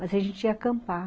Mas a gente ia acampar.